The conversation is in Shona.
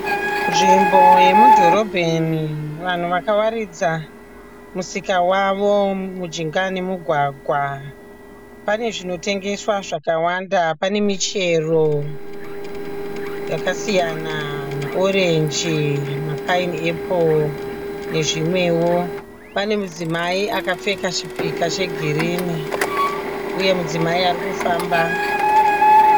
Nzvimbo yemudhorobheni, vanhu vakawaridza musika wavo mujinga memugwagwa. Pane zvinotengeswa zvakawanda. Pane michero yakasiyana maorenji, mapainiepuro nezvimwewo. Pane mudzimai akapfeka chipika chegirinu uye mudzimai ari kufamba.